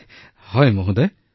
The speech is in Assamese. হয় হয় মহোদয়